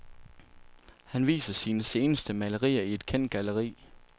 Han viser sine seneste malerier i et kendt galleri.